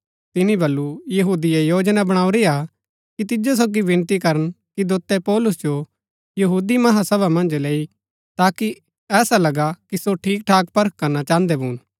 तिनी बल्लू यहूदिये योजना बणाऊरी हा कि तिजो सोगी विनती करन कि दोतै पौलुस जो महासभा मन्ज लैई ताकि ऐसा लगा कि सो ठीक ठाक परख करणा चाहन्दै भून